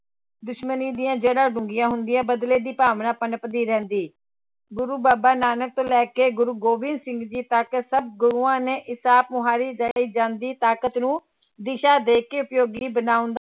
ਦੁਸ਼ਮਣੀ ਦੀਆਂ ਜੜਾਂ ਡੂੰਘੀਆਂ ਹੁੰਦੀਆਂ, ਬਦਲੇ ਦੀ ਭਾਵਨਾ ਪਣਪਦੀ ਰਹਿੰਦੀ, ਗੁਰੂ ਬਾਬਾ ਨਾਨਕ ਤੋਂ ਲੈ ਕੇ ਗੁਰੂ ਗੋਬਿੰਦ ਸਿੰਘ ਜੀ ਤੱਕ ਸਭ ਗੁਰੂਆਂ ਨੇ ਇਸ ਆਪ ਮੁਹਾਰੀ ਦਈ ਜਾਂਦੀ ਤਾਕਤ ਨੂੰ ਦਿਸ਼ਾ ਦੇ ਕੇ ਉਪਯੋਗੀ ਬਣਾਉਣ